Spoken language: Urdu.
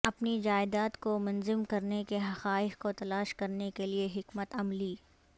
اپنی جائیداد کو منظم کرنے کے حقائق کو تلاش کرنے کے لئے حکمت عملی